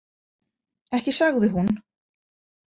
Ekki sagði hún.